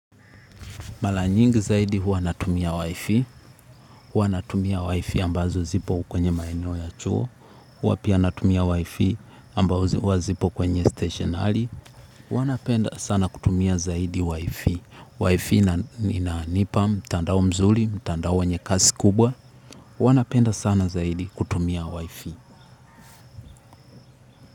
Mara nyingi zaidi huwa natumia Wifi, huwa natumia wifi ambazo zipo kwenye maeneo ya chuo huwa pia natumia wifi ambazo zipo kwenye station halli huwa napenda sana kutumia zaidi wifi wifi inanipa mtandao mzuri mtandao wenye kasi kubwa, huwa napenda sana zaidi kutumia Wifi.